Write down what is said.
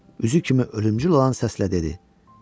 Üzük kimi ölümcül olan səslə dedi: